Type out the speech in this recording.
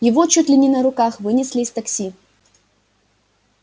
его чуть ли не на руках вынесли из такси